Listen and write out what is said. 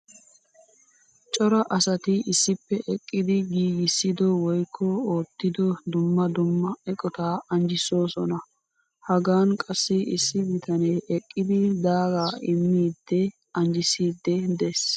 Cora asatti issippe eqqiddi giigissiddo woykko oottiddo dumma dumma eqqotta anjjisoossonna. Hagan qassi issi bitane eqqiddi daaga immidde anjjissidde de'ees.